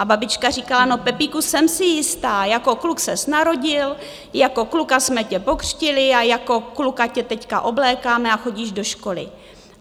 A babička říkala, no, Pepíku, jsem si jistá - jako kluk ses narodil, jako kluka jsme tě pokřtili a jako kluka tě teď oblékáme a chodíš do školy.